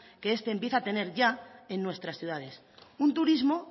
que este empieza a tener ya en nuestras ciudades un turismo